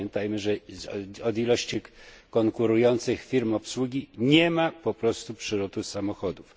Pamiętajmy, że od liczby konkurujących firm obsługi nie ma po prostu przyrostu samolotów.